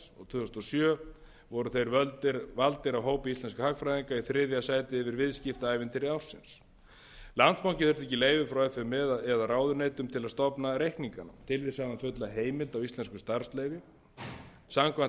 tvö þúsund og sjö voru þeir valdir af hópi íslenskra hagfræðinga í þriðja sæti yfir viðskiptaævintýri ársins landsbankinn þurfti ekki leyfi frá f m e eða ráðuneytum til að stofna reikningana tilvísanafulla heimild af íslenskum starfsleyfum samkvæmt ákvæðum e e s